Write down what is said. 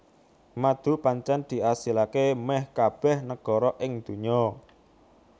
Madu pancen diasilaké méh kabéh negara ing dunya